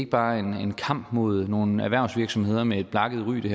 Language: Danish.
bare er en kamp imod nogle erhvervsvirksomheder med et blakket ry det